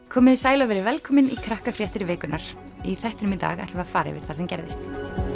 komiði sæl og verið velkomin í vikunnar í þættinum í dag ætlum við að fara yfir það sem gerðist